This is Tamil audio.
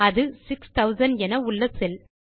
அது 6000 என உள்ள செல்